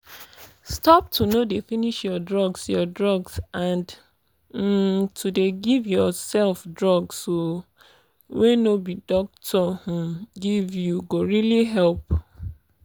stop to no dey finish your drugs your drugs and um to dey give yourself drugs um wey no be doctor um give you go really help.